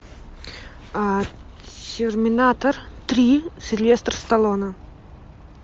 терминатор три сильвестр сталлоне